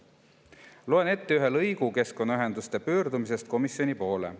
Loen ette ühe lõigu keskkonnaühenduste pöördumisest komisjoni poole.